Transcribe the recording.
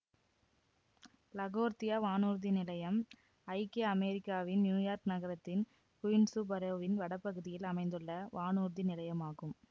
LaGuardia வானூர்தி நிலையம் ஐக்கிய அமெரிக்காவின் நியூயார்க் நகரத்தின் குயின்சு பரோவின் வடபகுதியில் அமைந்துள்ள வானூர்தி நிலையமாகும்